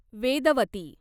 Vedvati